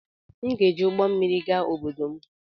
M ga-eji ụgbọ mmiri gaa obodo m